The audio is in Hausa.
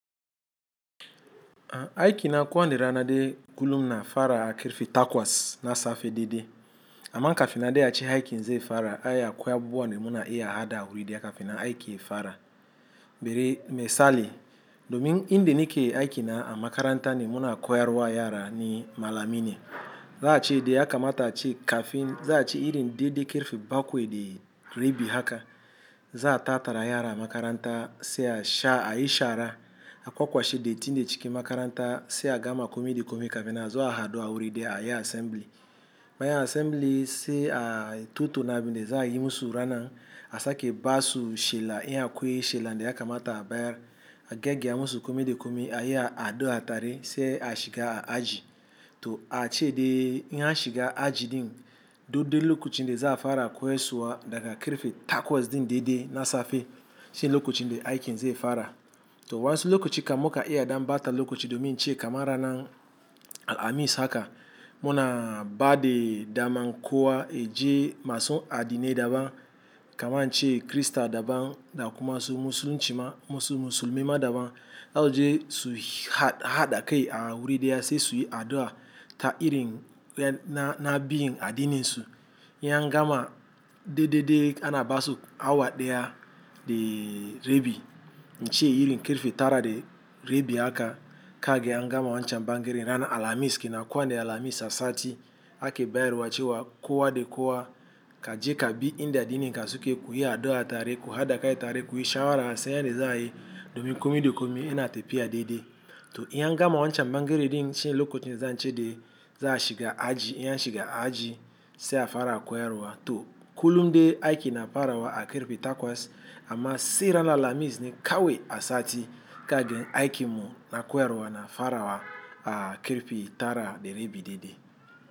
Aiki na ko wane rana de kullum ina fara a karfe takwas na safe daidai. Ama kafin nan dai a ce aiki zai fara ai akwai abubuwa da muna iya hada a wuri daya kafin aiki ya fara. Bari misali, domin inde ni ke aiki na a makaranta ne muna koyarwa yara ni malami ne. Za a chede a kamata a che kafin za a che irin de de kirfi bakwe de rebi haka. Za a tatara yara makaranta sai a sha a yi shara, a kwakwashe datin de ciki makaranta sai a gama komi de komi kafin a zo a hadu a wuri daya ayi assembly. Bayan assembly sai a tatauna na bi ne za a yi musu ranan, a sake basu shela iya koye shela de a kamata a bayar. A gyagia musu komi da komi a yi a hadu a tare sai a shiga a aji. To a cc dai in a shiga aji din, daidai lokacin da za a fara koyarswa daga karfe takwas din de de na safe, shine lokacin de aiki nze fara. To wansu lokaci ka muka iya dam bata lokaci domi che kamarana alamis haka. Muna ba de dama kowaa yaje masun adine daban kaman che krista daban da kuma su musulunci ma musulmi ma daban. Alje su hada kai a wuri diya sai su yi addu'a ta irin na bin adininsu. In gama de de de ana basu awa deya de rebi, nche irin kirfi tara de rebi haka ka ge a gama wancan bangere rana alamis. Ki na koande alamis asati ake bayarwa cewa kowa de kowa ka je kabi inde adi ni kasuke kuyi addu'a tare, ku hada kai tare, kuyi shara se yande za a yi domi kome de kome ina tepiya de de. To in gama wancan bangere din shine lokacin de za a chede za a shiga aji, in a shiga aji se a fara koyarwa. To kullum de aiki na farawa a kirfi takwas, amma se rana lamis ni kawai asati ka ge aiki mu na koyarwa na farawa a kirfi tara de rebi de de.